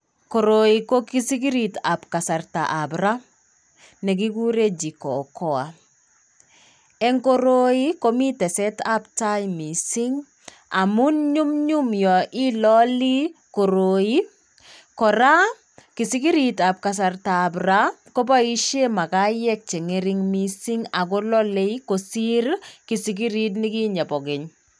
Koroi ko kisikiritab kasartaab ra nekigure Jikokoa eng koroi komitesetab tai missing. Amun nyumnyum y ilalii koroi kora kisikiriab kasartab ra kobaishe makayiek che ng'ering'en missing ako lalei kosir kisikirit nikichei bogeny.